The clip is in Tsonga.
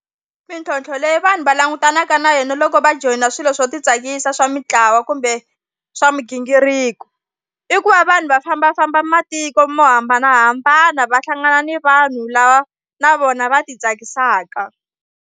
Mintlhontlho leyi vanhu va langutanaka na yona loko va joyina swilo swo titsakisa swa mintlawa kumbe swa migingiriko i ku va vanhu va fambafamba matiko mo hambanahambana va hlangana ni vanhu lava na vona va titsakisaka.